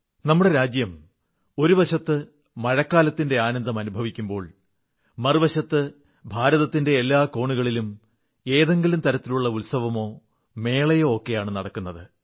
നമ്മുടെ രാജ്യം ഒരുവശത്ത് മഴക്കാലത്തിന്റെ ആനന്ദം അനുഭവിക്കുമ്പോൾ മറുവശത്ത് ഭാരതത്തിന്റെ എല്ലാ കോണുകളിലും ഏതെങ്കിലും തരത്തിലുള്ള ഉത്സവമോ മേളയോ ഒക്കെയാണ് നടക്കുന്നത്